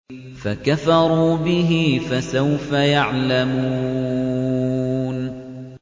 فَكَفَرُوا بِهِ ۖ فَسَوْفَ يَعْلَمُونَ